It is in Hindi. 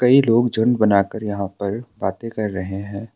कई लोग झुंड बनाकर यहाँ पर बातें कर रहे हैं।